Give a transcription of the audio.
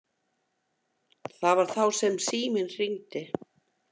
Það var þá sem síminn hringdi.